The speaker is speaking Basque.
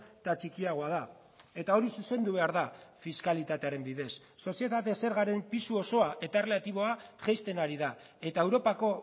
eta txikiagoa da eta hori zuzendu behar da fiskalitatearen bidez sozietate zergaren pisu osoa eta erlatiboa jaisten ari da eta europako